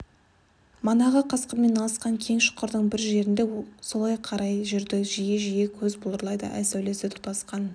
манағы қасқырмен алысқан кең шұңқырдың бір жерінде солай қарай жүрді жиі-жиі көзі бұлдырайды ай сәулесі тұтасқан